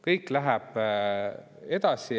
Kõik läheb edasi.